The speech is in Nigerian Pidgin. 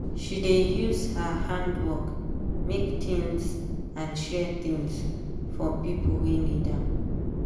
she dey use her handwork make things and share things for pipo wey need am.